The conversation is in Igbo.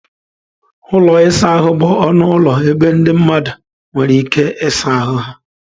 Ụlọ ịsa ahụ bụ ọnụ ụlọ ebe ndị mmadụ nwere ike ịsa ahụ ha.